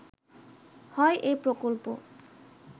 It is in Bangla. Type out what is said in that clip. হয় এ প্রকল্প